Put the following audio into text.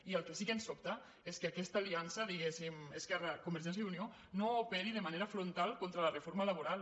i el que sí que ens sobta és que aquesta aliança diguéssim esquerra convergència i unió no operi de manera frontal contra la reforma laboral